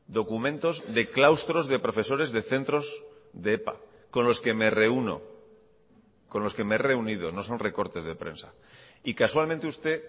documentos de claustros de profesores de centros de epa con los que me reúno con los que me he reunido no son recortes de prensa y casualmente usted